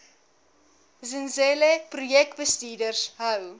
zenzele projekbestuurders hou